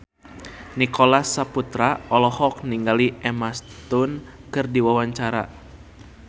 Nicholas Saputra olohok ningali Emma Stone keur diwawancara